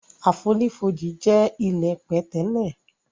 Àfonífojì jẹ ilẹ́ pẹ̀tẹ́lẹ̀.